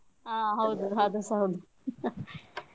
ಹಾ ಹೌದು ಅದು ಸ ಹೌದು ಹಾ ಹಾ.